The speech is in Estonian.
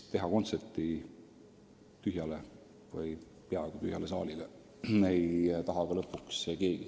Anda kontserti tühjale või peaaegu tühjale saalile ei taha ju lõpuks ka keegi.